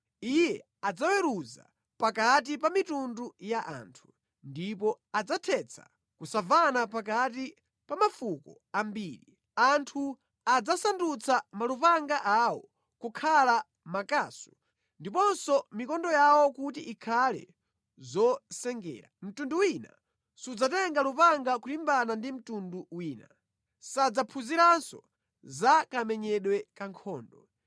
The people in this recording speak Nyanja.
Iye adzaweruza pakati pa mayiko, ndipo adzathetsa kusamvana pakati pa anthu ambiri. Anthuwo adzasandutsa malupanga awo kukhala makasu ndiponso mikondo yawo kukhala zomwetera. Mtundu wina sudzatenganso lupanga kumenyana ndi mtundu wina, kapena kuphunziranso za nkhondo.